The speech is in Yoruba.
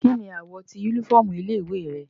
Kini awọ ti unifọmú ile-iwe rẹ?